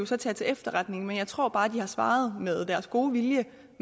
så tage til efterretning men jeg tror bare de har svaret med god vilje